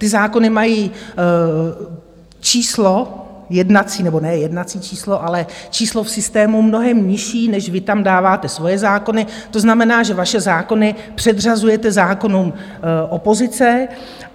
Ty zákony mají číslo jednací, nebo ne jednací číslo, ale číslo v systému mnohem nižší, než vy tam dáváte svoje zákony, to znamená, že vaše zákony předřazujete zákonům opozice.